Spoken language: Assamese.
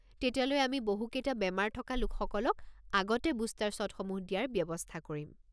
তেতিয়ালৈ আমি বহুকেইটা বেমাৰ থকা লোকসকলক আগতে বুষ্টাৰ শ্বটসমূহ দিয়াৰ ব্যৱস্থা কৰিম।